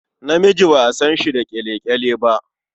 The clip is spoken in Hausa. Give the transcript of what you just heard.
Namiji ba a san shi da ƙyale-ƙyale ba.